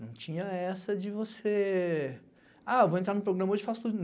Não tinha essa de você... Ah, vou entrar no programa hoje e faço tudo.